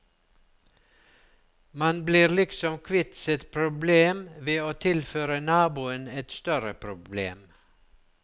Man blir liksom kvitt sitt problem ved å tilføre naboen et større problem.